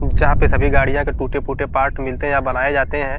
जहां पे सभी गाड़ियों के टूटे-फूटे पार्ट मिलते हैं या बनाए जाते हैं।